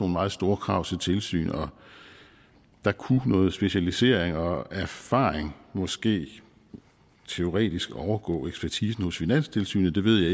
meget store krav til tilsyn og der kunne noget specialisering og erfaring måske teoretisk overgå ekspertisen hos finanstilsynet det ved